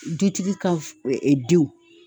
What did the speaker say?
Dutigi ka ee denw.